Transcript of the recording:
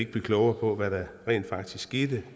blive klogere på hvad der rent faktisk skete